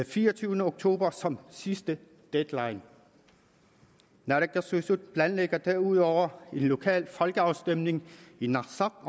fireogtyvende oktober som sidste deadline naalakkersuisut planlægger derudover en lokal folkeafstemning i narsaq